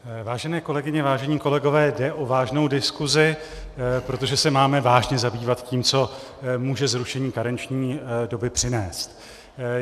Vážené kolegyně, vážení kolegové, jde o vážnou diskusi, protože se máme vážně zabývat tím, co může zrušení karenční doby přinést.